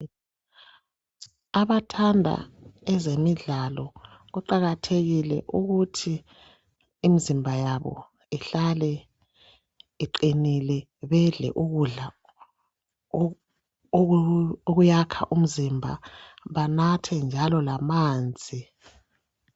Abathanda ezemidlalo kuqakathekile ukuthi imizimba yabo ihlale iqinile .Bedle ukudla okuyakha umzimba banathe njalo lamanzi.